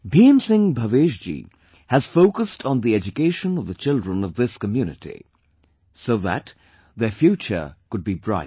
Bhim Singh Bhavesh ji has focused on the education of the children of this community, so that their future could be bright